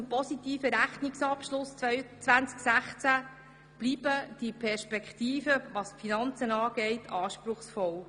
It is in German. Trotz des positiven Rechnungsabschlusses im Jahr 2016 bleiben die Perspektiven in finanzieller Hinsicht anspruchsvoll.